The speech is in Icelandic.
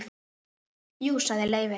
Jú sagði Leifi.